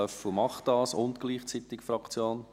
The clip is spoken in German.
Löffel macht das gleichzeitig Fraktion.